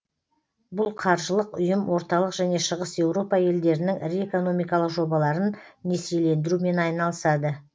бұл қаржылық ұйым орталық және шығыс еуропа елдерінің ірі экономикалық жобаларын несиелендірумен айналысады